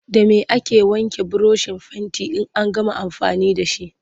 Da me ake wanke burushin fentin in an gama amfani da shi?